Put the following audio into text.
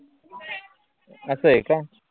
अस हाय का?